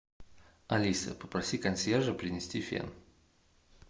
алиса попроси консьержа принести фен